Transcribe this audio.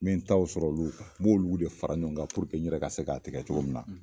N be n taw sɔrɔ olu n b'olu de fara ɲɔgɔn kan puruke n yɛrɛ ka se k'a se k'a tigɛ cogo min na